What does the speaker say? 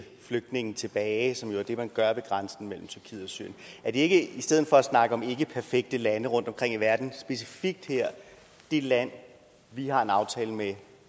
flygtninge tilbage som jo er det man gør ved grænsen mellem tyrkiet og syrien er det ikke i stedet for at snakke om ikkeperfekte lande rundtomkring i verden specifikt her det land vi har en aftale med